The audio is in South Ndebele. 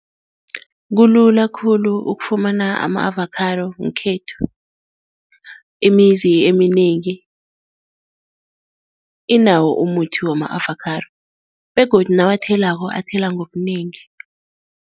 Kulula khulu ukufumana ama-avakhado ngekhethu, imizi eminengi inawo umuthi wama-avakhado begodu nawathwelako, athela ngobunengi.